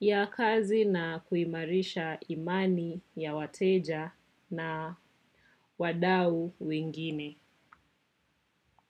ya kazi na kuimarisha imani ya wateja na wadau wengine.